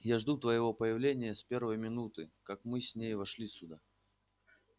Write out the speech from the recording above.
я жду твоего появления с первой минуты как мы с ней вошли сюда